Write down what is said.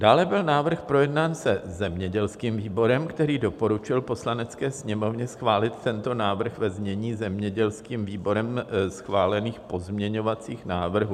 Dále byl návrh projednán se zemědělským výborem, který doporučil Poslanecké sněmovně schválit tento návrh ve znění zemědělským výborem schválených pozměňovacích návrhů.